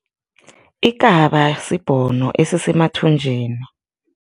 Ikaba sibhono esisemathunjini.